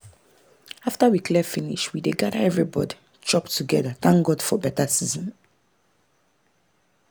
after we clear finish we dey gather everybody chop together thank god for better season.